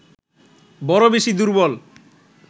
বড় বেশি দুর্বল